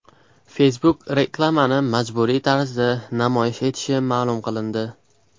Facebook reklamani majburiy tarzda namoyish etishi ma’lum qilindi.